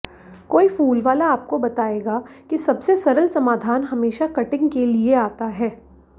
कोई फूलवाला आपको बताएगा कि सबसे सरल समाधान हमेशा कटिंग के लिए आता है